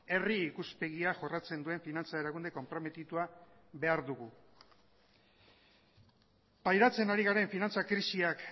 herri ikuspegia jorratzen duen finantza erakunde konprometitua behar dugu pairatzen ari garen finantza krisiak